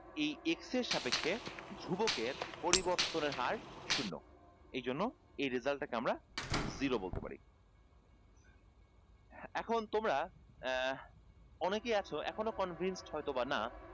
এই x এর সাপেক্ষে ধ্রুবকের পরিবর্তনের হার শূণ্য এইজন্য এই result টাকে আমরা zero বলতে পারি এখন তোমরা আহ অনেকেই আছো এখনো convinced হয়ত বা না